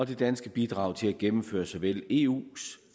det danske bidrag til at gennemføre såvel eus